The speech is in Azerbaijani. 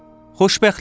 Xoşbəxtlik.